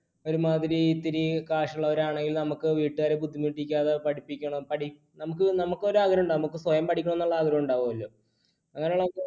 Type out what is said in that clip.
ഒരുമാതിരി ഇത്തിരി കാശുള്ളവരാണെങ്കിൽ നമുക്ക് വീട്ടുകാരെ ബുദ്ധിമുട്ടിക്കാതെ നമുക്ക് ഒരു ആഗ്രഹം ഉണ്ടാവും, സ്വയം പഠിക്കണമെന്നുള്ള ആഗ്രഹം ഉണ്ടാവുമല്ലോ. അങ്ങിനെയുള്ള നമുക്ക്